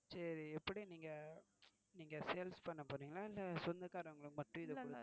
சரி எப்படி இத sales பண்ண போறீங்களா இல்ல சொந்தகாரங்களுக்கு மட்டும் இத